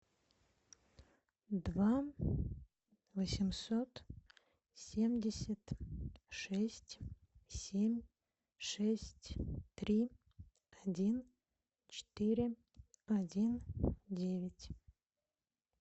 два восемьсот семьдесят шесть семь шесть три один четыре один девять